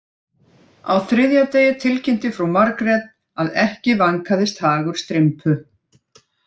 Á þriðja degi tilkynnti frú Margrét að ekki vænkaðist hagur Strympu